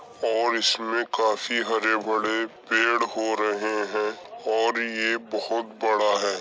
और इसमें काफी हरे-भरे पेड़ हो रहे हैं और ये बोहत बड़ा है।